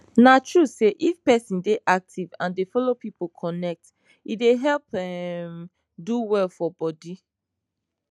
na true say if person dey active and dey follow people connect e dey help um do well for bodi